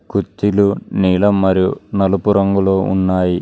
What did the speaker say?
కుర్చీలు నీలం మరియు నలుపు రంగులో ఉన్నాయి.